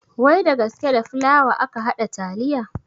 Wai da gasKe da fulawa aka haɗa taliya